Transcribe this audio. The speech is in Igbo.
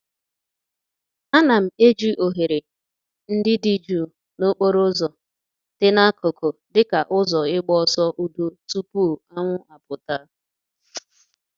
A na m eji oghere ndị dị jụụ na okporo ụzọ dị n'akụkụ dịka ụzọ ịgba ọsọ udo tupu anwụ apụta.